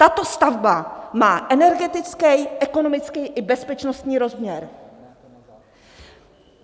Tato stavba má energetický, ekonomický i bezpečnostní rozměr.